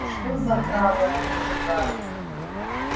и что за храмы они сжигают